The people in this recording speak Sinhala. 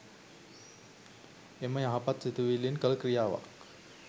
එම යහපත් සිතුවිල්ලෙන් කළ ක්‍රියාවක්